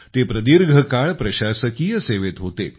ते प्रदीर्घ काळ प्रशासकीय सेवेत होते